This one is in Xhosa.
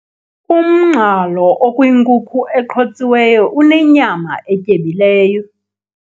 Umngxalo okwinkuku eqhotsiweyo unenyama etyebileyo.